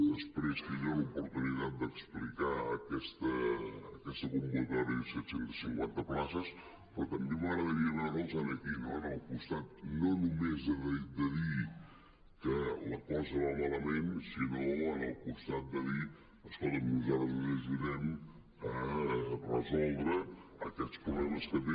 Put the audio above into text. després tindré l’oportunitat d’explicar aquesta convocatòria de set cents i cinquanta places però també m’agradaria veure’ls aquí no al costat no només de dir que la cosa va malament sinó al costat de dir escolta’m nosaltres us ajudem a resoldre aquests problemes que té